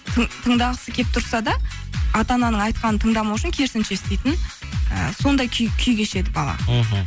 тыңдағысы келіп тұрса да ата ананың айтқанын тыңдамау үшін керісінше істейтін ы сондай күй кешеді бала мхм